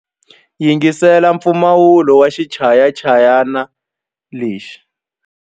Yingisela mpfumawulo wa xichayachayani lexi.